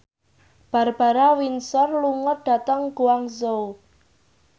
Barbara Windsor lunga dhateng Guangzhou